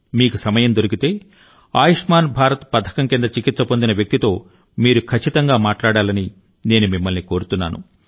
మీకు సమయం దొరికితే ఆయుష్మాన్ భారత్ పథకం కింద చికిత్స పొందిన వ్యక్తితో మీరు ఖచ్చితంగా మాట్లాడాలని నేను మిమ్మల్నికోరుతున్నాను